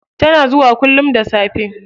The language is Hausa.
Tana zuwa kullum da safe.